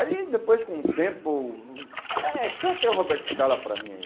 Aí, depois, com o tempo... É, canta aí o Roberto Scala para mim, aí.